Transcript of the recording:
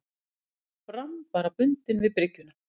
Brann bara bundinn við bryggjuna.